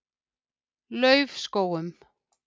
Laufskógum